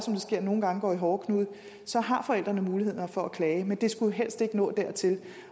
sker nogle gange går i hårdknude har forældrene mulighed for at klage men det skulle jo helst ikke nå dertil